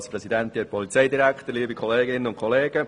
Es geht um das Grundsätzliche zu diesem Gesetz.